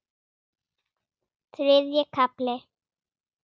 Þriðji kafli